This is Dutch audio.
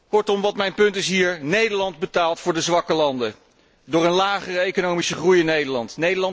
Kortom, wat mijn hier punt is Nederland betaalt voor de zwakke landen door een lagere economische groei in Nederland.